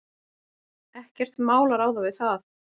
Ekkert mál að ráða við það.